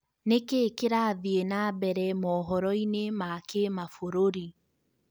nĩkĩĩ kĩrathie na mbere mohoroinĩ ma kĩmabũrũri